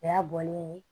O y'a bɔlen ye